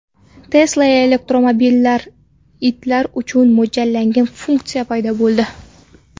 Tesla elektromobillarida itlar uchun mo‘ljallangan funksiya paydo bo‘ldi.